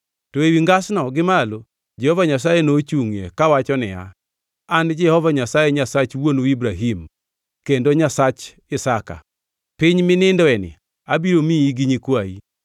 To ewi ngasno gi malo Jehova Nyasaye nochungʼie kawacho niya, “An Jehova Nyasaye Nyasach wuonu Ibrahim kendo Nyasach Isaka. Piny minindoeni abiro miyi gi nyikwayi.